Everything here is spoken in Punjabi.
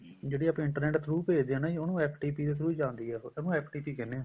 ਜਿਹੜੀ ਆਪਾਂ internet through ਭੇਜਦੇ ਹਾਂ ਉਹਨੂੰ FTP ਦੇ through ਜਾਂਦੀ ਆ ਉਹ ਉਹਨੂੰ FTP ਕਹਿੰਦੇ ਹਾਂ